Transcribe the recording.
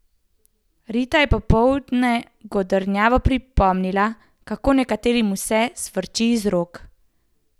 Rita je popoldne godrnjavo pripomnila, kako nekaterim vse sfrči iz rok.